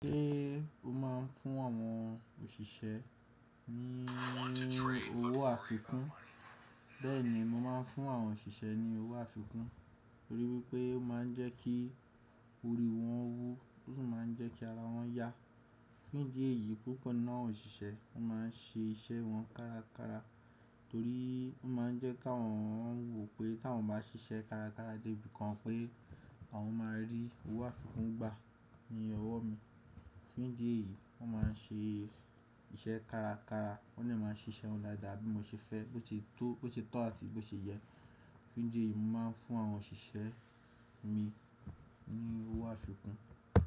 Ṣé o máa ń fún àwọn òṣìṣẹ́ ní owó àfikún? Bẹ́ẹ̀ni, mo máa ń fún àwọn òṣìṣẹ́ ní owó àfikún, torí wípé ó máa ń jẹ́ kí ori wọn wú, ó sì máa ń jẹ́ kí ara wọn yá. Ní idi ẹ̀ yìí púpọ̀ ní àwọn òṣìṣẹ́ máa ń ṣe iṣẹ́ wọn kárakára, torí ó máa ń jẹ́ kí àwọn wò pé kí àwọn ba ṣiṣẹ́ kárakára dé ibìkan pé àwọn máa rí owó àfikún gbà ní ọwọ́ mi. Ní dí ẹ̀ yìí wọ́n máa ń ṣe iṣẹ́ kárakára, wọ́n sì máa ń ṣe iṣẹ́ wọn dáadáa bí mo ṣe fẹ́, bó ti tó àti bó ṣe yẹ. Ní díẹ̀ yìí, mo máa ń fún àwọn òṣìṣẹ́ mi ní owó àfikún.